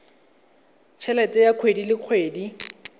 helete ya kgwedi le kgwedi